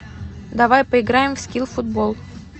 давай поиграем в скил футбол